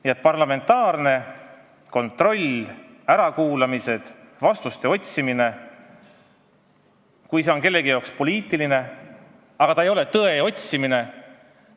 Nii et parlamentaarne kontroll, ärakuulamised, vastuste otsimine – kui see on kellegi jaoks poliitiline tegevus, mitte tõe otsimine ...